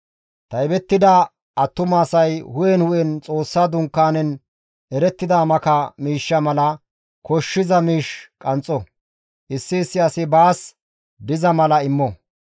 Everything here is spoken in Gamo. Taybettida attuma asay hu7en hu7en Xoossa Dunkaanen erettida maka miishsha mala koshshiza miish qanxxo. Issi issi asi baas diza mala immo.